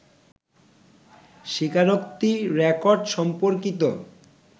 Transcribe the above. স্বীকারোক্তি রেকর্ড সম্পর্কিত